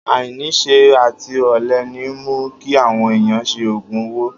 Ainisẹ àtí ọlẹ ni mú ki àwon ẹyàn sẹ ògún òwó.